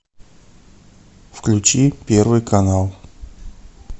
включи первый канал